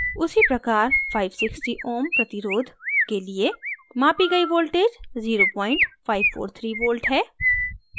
उसी प्रकार 560 ω ohms प्रतिरोध resistance के लिए मापी गई voltage 0543v है